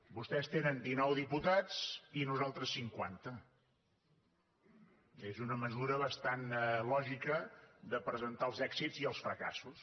vostès tenen dinou diputats i nosaltres cinquanta és una manera bastant lògica de presentar els èxits i els fracassos